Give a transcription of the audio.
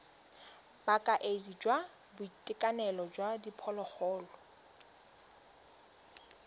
bokaedi jwa boitekanelo jwa diphologolo